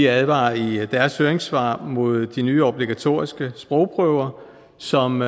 advarer i deres høringssvar mod de nye obligatoriske sprogprøver som